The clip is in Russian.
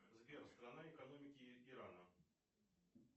сбер страна экономики ирана